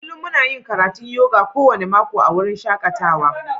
Kullum muna yin karatun yoga kowane mako a wurin shakatawa.